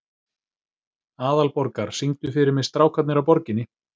Aðalborgar, syngdu fyrir mig „Strákarnir á Borginni“.